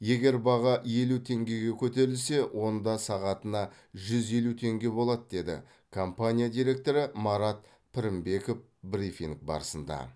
егер баға елу теңгеге көтерілсе онда сағатына жүз елу теңге болады деді компания директоры марат пірінбеков брифинг барысында